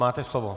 Máte slovo.